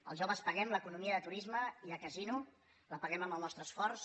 els joves paguem l’economia de turisme i de casino la paguem amb el nostre esforç